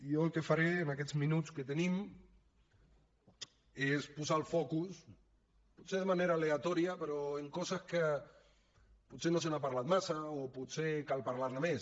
jo el que faré en aquests minuts que tenim és posar el focus potser de manera aleatòria però en coses que potser no se n’ha parlat massa o potser cal parlar ne més